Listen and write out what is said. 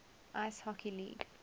ice hockey league